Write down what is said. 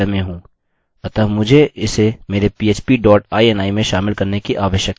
अतः मुझे इसे मेरे php dot ini में शामिल करने की आवश्यकता है